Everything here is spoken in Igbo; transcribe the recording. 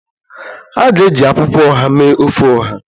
A ga-eji akwukwo oha mee ofe Oha